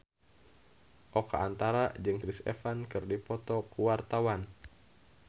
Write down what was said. Oka Antara jeung Chris Evans keur dipoto ku wartawan